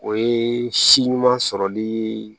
O ye si ɲuman sɔrɔli